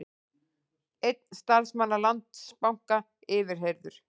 Einn starfsmanna Landsbanka yfirheyrður